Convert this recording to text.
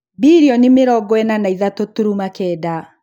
Bilioni mĩrongo ĩna na ithatũ turuma kenda